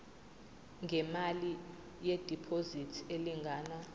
ngemali yediphozithi elingana